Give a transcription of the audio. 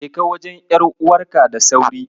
Jeka wajen ƴar'uwarka da sauri.